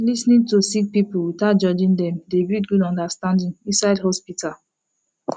lis ten ing to sick pipul witout judging dem dey build gud understanding inside hosptital